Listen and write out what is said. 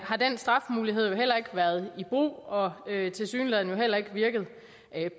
har den strafmulighed jo heller ikke været i brug og tilsyneladende heller ikke virket